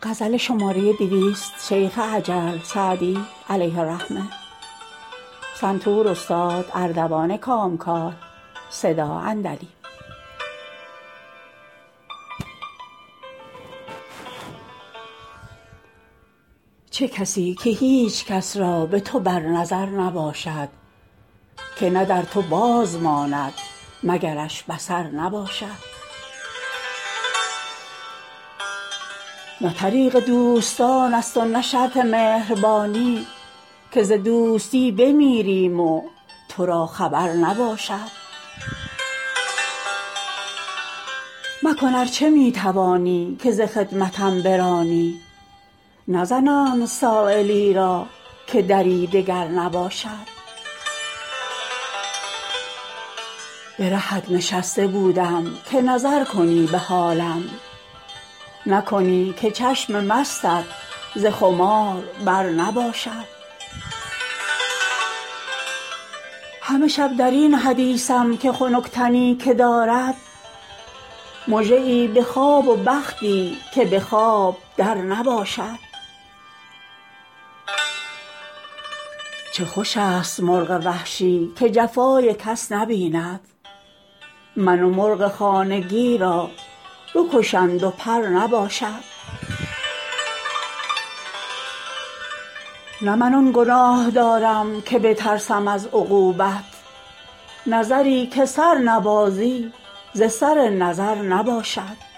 چه کسی که هیچ کس را به تو بر نظر نباشد که نه در تو باز ماند مگرش بصر نباشد نه طریق دوستان است و نه شرط مهربانی که ز دوستی بمیریم و تو را خبر نباشد مکن ار چه می توانی که ز خدمتم برانی نزنند سایلی را که دری دگر نباشد به رهت نشسته بودم که نظر کنی به حالم نکنی که چشم مستت ز خمار بر نباشد همه شب در این حدیثم که خنک تنی که دارد مژه ای به خواب و بختی که به خواب در نباشد چه خوش است مرغ وحشی که جفای کس نبیند من و مرغ خانگی را بکشند و پر نباشد نه من آن گناه دارم که بترسم از عقوبت نظری که سر نبازی ز سر نظر نباشد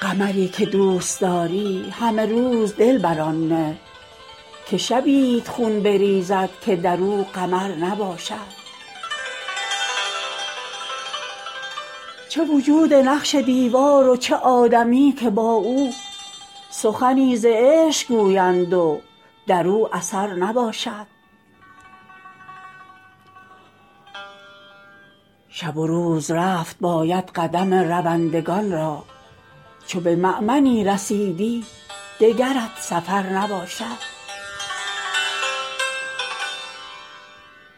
قمری که دوست داری همه روز دل بر آن نه که شبیت خون بریزد که در او قمر نباشد چه وجود نقش دیوار و چه آدمی که با او سخنی ز عشق گویند و در او اثر نباشد شب و روز رفت باید قدم روندگان را چو به مأمنی رسیدی دگرت سفر نباشد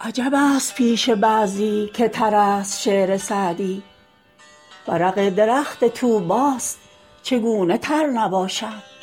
عجب است پیش بعضی که تر است شعر سعدی ورق درخت طوبی ست چگونه تر نباشد